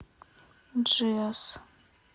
джиос